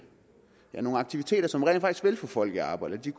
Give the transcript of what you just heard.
aktiviteter som rent faktisk vil få folk i arbejde